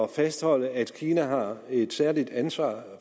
fastholde at kina har et særligt ansvar